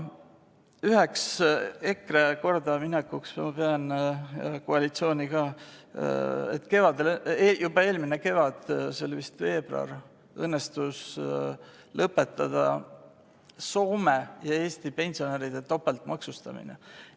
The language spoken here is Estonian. Üheks EKRE ja ka koalitsiooni kordaminekuks ma pean seda, et juba eelmisel kevadel, see oli vist veebruaris, õnnestus lõpetada Soome ja Eesti pensionäride topeltmaksustamine.